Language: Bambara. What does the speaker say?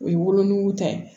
O ye wolonugu ta ye